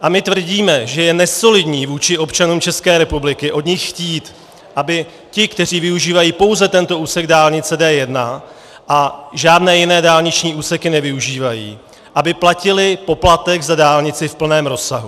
A my tvrdíme, že je nesolidní vůči občanům České republiky od nich chtít, aby ti, kteří využívají pouze tento úsek dálnice D1 a žádné jiné dálniční úseky nevyužívají, platili poplatek za dálnici v plném rozsahu.